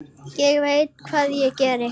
Ég veit hvað við gerum!